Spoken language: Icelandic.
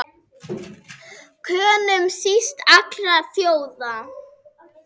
Könum síst allra þjóða!